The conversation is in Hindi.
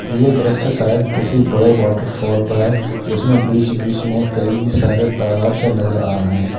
ये दृश्य शायद किसी बड़े वॉटरफॉल का है जिसमें बीच बीच में कई सारे तालाब से नजर आ रहे हैं।